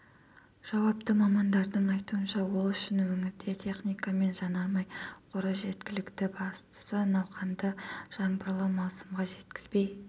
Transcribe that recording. жауапты мамандардың айтуынша ол үшін өңірде техника мен жанармай қоры жеткілікті бастысы науқанды жаңбырлы маусымға жеткізбей